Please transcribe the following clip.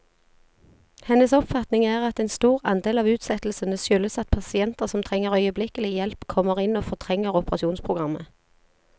Hennes oppfatning er at en stor andel av utsettelsene skyldes at pasienter som trenger øyeblikkelig hjelp, kommer inn og fortrenger operasjonsprogrammet.